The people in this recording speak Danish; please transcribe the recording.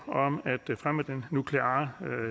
om at fremme den nukleare